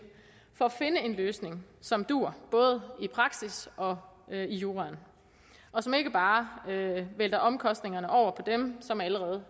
for at finde en løsning som duer både i praksis og i juraen og som ikke bare vælter omkostningerne over på dem som allerede